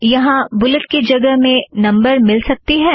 यहाँ बुलेट की जगह में नंबर मिल सकती है